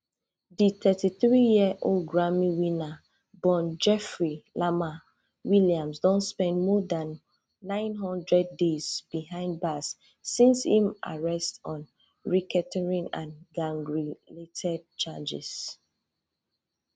di thirty-threeyearold grammy winner born jeffery lamar williams don spend more than nine hundred days behind bars since im arrest on racketeering and gangrelated charges